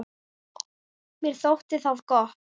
Mér þótti það gott.